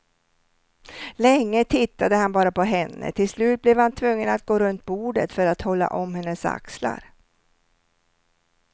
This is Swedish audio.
Länge tittade han bara på henne, till slut blev han tvungen att gå runt bordet för att hålla om hennes axlar.